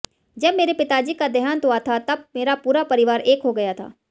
जब मेरे पिताजी का देहांत हुआ था तब मेरा पूरा परिवार एक हो गया था